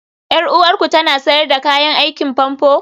Yar uwarku tana sayar da kayan aikin famfo?